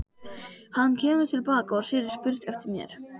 Hann kemur til baka og segir spurt eftir mér.